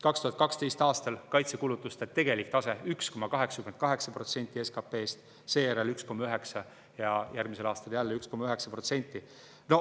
2012. aastal oli kaitsekulutuste tegelik tase 1,88% SKP‑st, seejärel oli 1,9% ja järgmisel aastal jälle 1,9%.